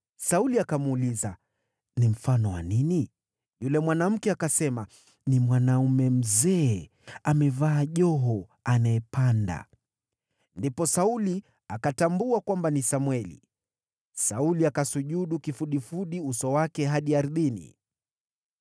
Sauli akamuuliza, “Ni mfano wa nini?” Yule mwanamke akasema, “Ni mwanaume mzee amevaa joho anayepanda.” Ndipo Sauli akatambua kwamba ni Samweli. Sauli akasujudu kifudifudi, uso wake hadi ardhini.